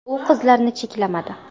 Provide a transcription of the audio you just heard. U qizlarni cheklamadi.